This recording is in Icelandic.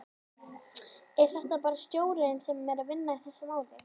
Er þetta bara stjórnin sem er að vinna í þessu máli?